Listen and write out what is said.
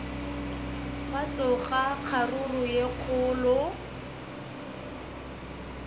gwa tsoga kgaruru ye kgolo